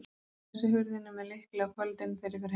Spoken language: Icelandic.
Ég læsi hurðinni með lykli á kvöldin, þegar ég fer heim.